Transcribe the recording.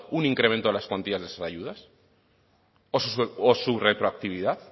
un incremento de las cuantías de esas ayudas o su retroactividad